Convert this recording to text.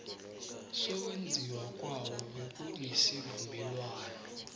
sokwenziwa kwawo bekunesivumelwano